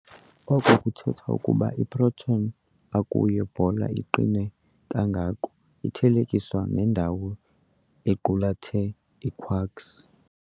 Oko kuthetha okokuba i-proton akuyo bhola iqine kangako xa ithelekiswa nendawo equlethe ii-quarks.